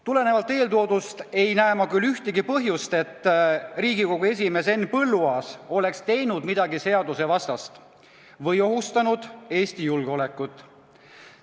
Tulenevalt eeltoodust ei näe ma ühtegi põhjust, et Riigikogu esimees Henn Põlluaas oleks teinud midagi seadusevastast või ohustanud Eesti julgeolekut.